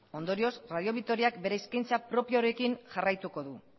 ondorioz radio vitoriak bere eskaintza propioarekin jarraituko du